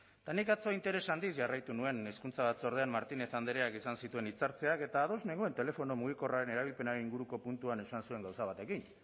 eta nik atzo interes handiz jarraitu nuen hezkuntza batzordean martinez andreak izan zituen hitza hartzeak eta ados nengoen telefono mugikorraren erabilpenaren inguruko puntuan esan zuen gauza batekin